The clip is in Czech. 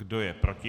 Kdo je proti?